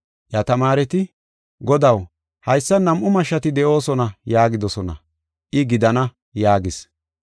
Iya tamaareti, “Godaw haysan nam7u mashshati de7oosona” yaagidosona. I, “Gidana” yaagis.